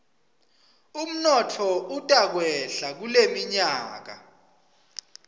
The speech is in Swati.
umnotfo utakwehla kuleminyaka